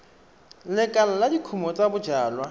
lekala la dikumo tsa bojalwa